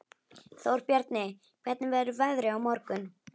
Þórbjarni, hvernig verður veðrið á morgun?